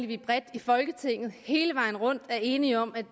vi bredt i folketinget hele vejen rundt er enige om at